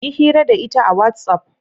Yi hira da ita a whatsapp.